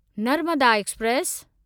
Narmada express